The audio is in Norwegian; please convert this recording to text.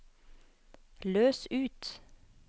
løs ut